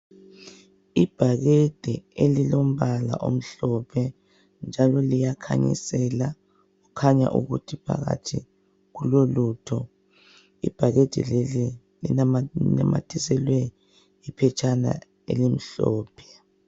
Ibhakede elilombala omhlophe, njalo liyakhanyisela. Kukhanya ukuthi phakathi kulolutho. Ibhakede leli linamathiselwe, iphetshana, elimhlophe.